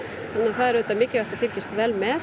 það er auðvitað mikilvægt að fylgjast vel með